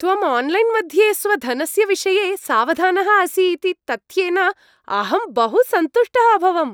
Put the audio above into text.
त्वम् आन्लैन्मध्ये स्वधनस्य विषये सावधानः असि इति तथ्येन अहं बहुसन्तुष्टः अभवम्।